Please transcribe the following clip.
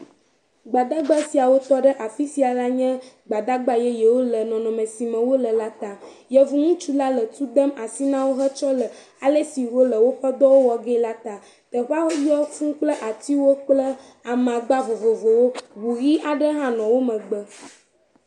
Gbadagba siawo tɔ ɖe afi sia la nye Gbadagba yeyewo le nɔnɔme si me wole la ta. Yevu ŋutsula le tu dem asi na wo hetsɔ le ale si wole woƒe dɔwo wɔ ge la ta. Teƒea yɔ fũu kple atiwo amagba vovovowo. Ŋu ʋi aɖe hã nɔ wo megbe.